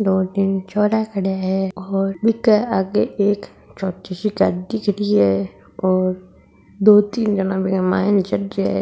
दो तीन छोरा खड़िया है और बीके आगे एक छोटी सी गाड़ी खड़ी है और दो तीन जना बीके मायन चढ़ रिया है।